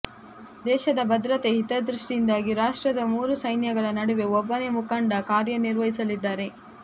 ದೇಶದ ಭದ್ರತೆ ಹಿತದೃಷ್ಟಿಯಿಂದಾಗಿ ರಾಷ್ಟ್ರದ ಮೂರು ಸೈನ್ಯಗಳ ನಡುವೆ ಒಬ್ಬನೇ ಮುಖಂಡ ಕಾರ್ಯನಿರ್ವಹಿಸಲಿದ್ದಾರೆ